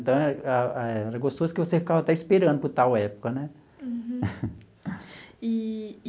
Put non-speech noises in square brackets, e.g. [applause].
Então eh, era gostoso que você ficava até esperando por tal época, né? Uhum [laughs] eee.